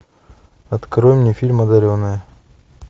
открой мне фильм одаренные